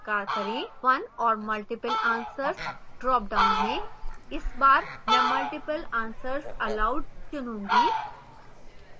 one or multiple answers dropdown में इस बार मैं multiple answers allowed चुनूंगी